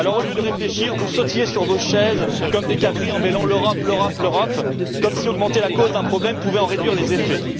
Alors au lieu de réfléchir, vous sautillez sur vos chaises comme des cabris en bêlant L'Europe, l'Europe, l'Europe, comme si augmenter la cause d'un problème pouvait en réduire les